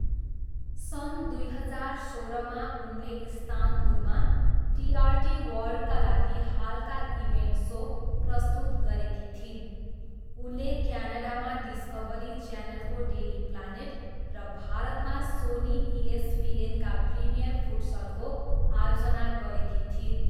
सन् दुई हजार सोह्रमा उनले इस्तानबुलमा टिआरटी वर्ल्डका लागि हालका इभेन्ट सो प्रस्तुत गरेकी थिइन्। उनले क्यानाडामा डिस्कभरी च्यानलको डेली प्लानेट र भारतमा सोनी इएसपिएनका प्रिमियर फुटसलको आयोजना गरेकी थिइन्।